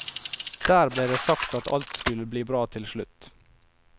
Der ble det sagt at alt skulle bli bra til slutt.